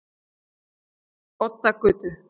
Oddagötu